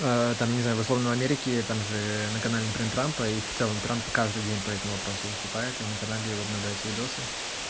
там я не знаю условно в америке там же на канале трампа и в целом трамп каждый день по этому вопросу выступает и на канале его обновляются видосы